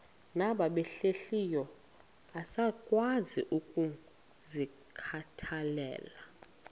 nabahlehliyo asikwazi ukungazikhathaieli